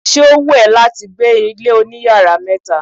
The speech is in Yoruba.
Ṣé ó wù ẹ́ láti gbé ilé oní yàrá mẹta?